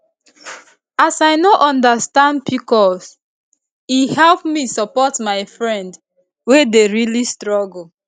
as i understand pcos e help me support my friend wey dey really struggle